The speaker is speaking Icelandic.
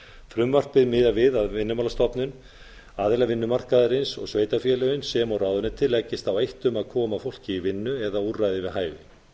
frumvarpið miðar við að vinnumálastofnun aðilar vinnumarkaðarins og sveitarfélögin sem og ráðuneytin leggist á eitt við að koma fólki í vinnu eða í úrræði við hæfi